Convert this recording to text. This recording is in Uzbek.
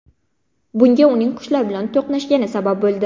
Bunga uning qushlar bilan to‘qnashgani sabab bo‘ldi.